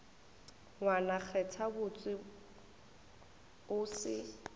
ngwane kgetha botse o se